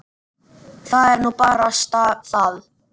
Það er nú barasta það.